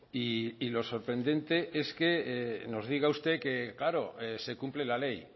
y lo sorprendente es que nos diga usted que claro se cumple la ley